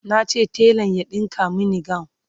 nace telan ya ɗinka Mani gawun